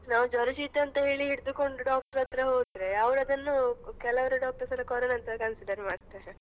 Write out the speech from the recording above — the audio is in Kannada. ನಾವ್ ಜ್ವರ ಶೀತ ಅಂತ ಹೇಳಿ ಹಿಡ್ದುಕೊಂಡು doctor ಹತ್ರ ಹೋದ್ರೆ, ಅವ್ರದನ್ನು ಕೆಲವ್ರು doctors ಎಲ್ಲ corona ಅಂತ consider ಮಾಡ್ತಾರೆ .